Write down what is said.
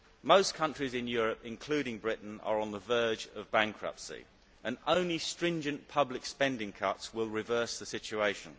Most countries in Europe, including Britain, are on the verge of bankruptcy, and only stringent public spending cuts will reverse the situation.